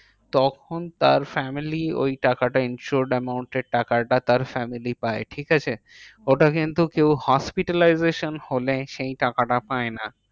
তখন তার family ওই টাকাটা insured amount এর টাকাটা তার family পায়। ঠিকাছে? ওটা কিন্তু কেউ hospitalization হলে সেই টাকাটা পায় না।